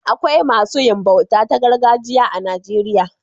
Akwai masu yin bauta ta gargajiya a Najeriya.